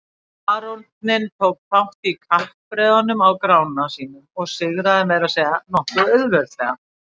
Baróninn tók þátt í kappreiðunum á Grána sínum og sigraði meira að segja nokkuð auðveldlega.